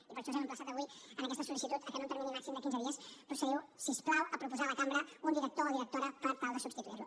i per això us hem emplaçat avui en aquesta sol·licitud que en un termini màxim de quinze dies procediu si us plau a proposar a la cambra un director o directora per tal de substituir lo